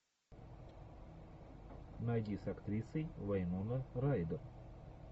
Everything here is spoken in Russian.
найди с актрисой вайнона райдер